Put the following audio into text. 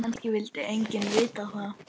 Kannski vildi enginn vita það.